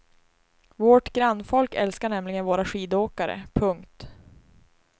Vårt grannfolk älskar nämligen våra skidåkare. punkt